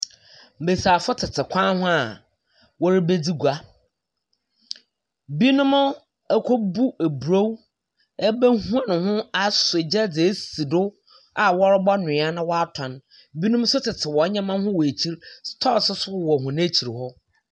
Mbesiafo tete kwan ho a wɔrebedzi gua. Binom akɔbu eburow abɛhoro ho asɔ gya dze esi do a wɔrobɔnoa na wɔatɔn. Binom nso tete hɔn nneɛma ho wɔ ekyir. Stores nso so wɔ hɔn ekyir hɔ.